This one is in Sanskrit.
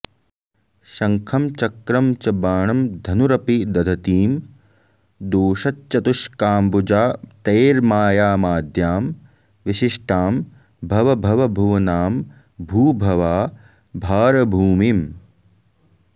शङ्खं चक्रं च बाणं धनुरपि दधतीं दोश्चतुष्काम्बुजातैर्मायामाद्यां विशिष्टां भवभवभुवनां भूभवा भारभूमिम्